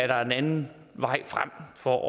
der er en anden vej frem for